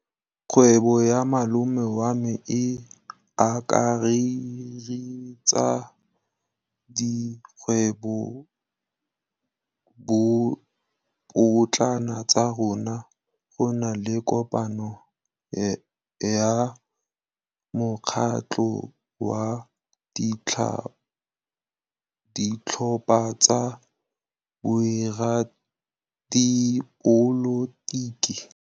Kgwêbô ya malome wa me e akaretsa dikgwêbôpotlana tsa rona. Go na le kopanô ya mokgatlhô wa ditlhopha tsa boradipolotiki.